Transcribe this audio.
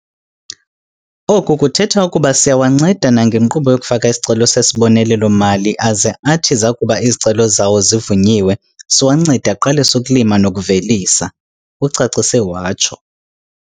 Oku kuthetha ukuba siyawanceda nangenkqubo yokufaka isicelo sesibonelelo-mali aze athi zakuba izicelo zawo zivunyiwe, siwancede aqalise ukulima nokuvelisa," ucacise watsho.